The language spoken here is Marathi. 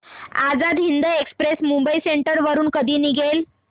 आझाद हिंद एक्सप्रेस मुंबई सेंट्रल वरून कधी निघेल